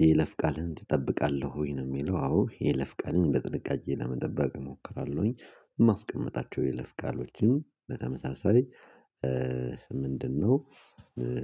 የይለፍ ቃልን ትጠብቃለህ ወይ? ነው የሚለው አዎ የይለፍ ቃልን በጥንቃቄ ለመጠበቅ እሞክራለሁኝ። ማስቀመጣቸው የለፍ ቃሎችን በተመሳሳይ፤ ምንድነው